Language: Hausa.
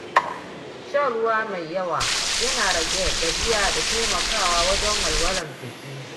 Shan ruwa mai yawa yana rage gajiya da taimakawa wajen walwalar jiki.